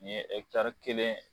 N ɲe ɛkitari kelen.